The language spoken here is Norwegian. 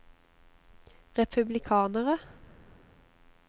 republikanere